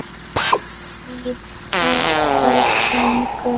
Hvít sængur